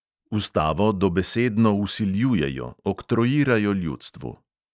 Ustavo dobesedno vsiljujejo, oktroirajo ljudstvu.